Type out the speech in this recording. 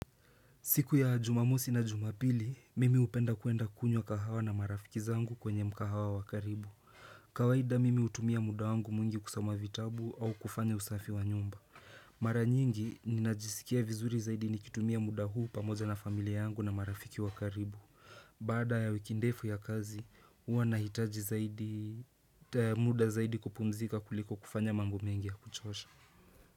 Siku ya jumamosi na jumapili, mimi upenda kuenda kunywa kahawa na marafiki zangu kwenye mkahawa wakaribu. Kawaida mimi utumia muda wangu mwingi kusama vitabu au kufanya usafi wa nyumba. Mara nyingi, ninajisikia vizuri zaidi nikitumia muda huu pamoja na familia yangu na marafiki wakaribu. Baada ya wiki ndefu ya kazi, uwa nahitaji zaidi muda zaidi kupumzika kuliko kufanya mambo mengi ya kuchosha.